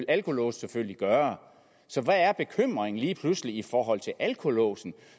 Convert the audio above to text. alkolåse selvfølgelig gøre så hvad er bekymringen lige pludselig i forhold til alkolåsen